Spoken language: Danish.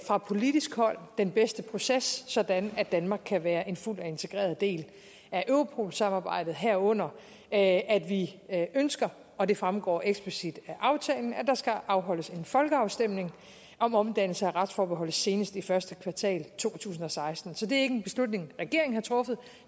fra politisk hold kan den bedste proces sådan at danmark kan være en fuld og integreret del af europol samarbejdet herunder at vi ønsker og det fremgår eksplicit af aftalen at der skal afholdes en folkeafstemning om omdannelse af retsforholdet senest i første kvartal to tusind og seksten så det er ikke en beslutning regeringen har truffet